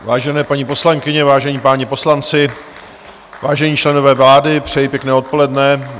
Vážené paní poslankyně, vážení páni poslanci, vážení členové vlády, přeji pěkné odpoledne.